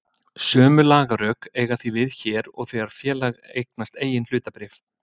Sömu lagarök eiga því við hér og þegar félag eignast eigin hlutabréf.